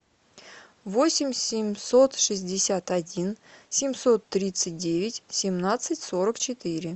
восемь семьсот шестьдесят один семьсот тридцать девять семнадцать сорок четыре